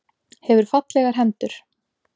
Hefur fallegar hendur.